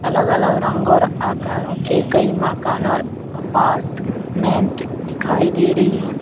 अलग अलग रंग और आकारों के कई मकान और अपार्टमेंट दिखाई दे रही है ।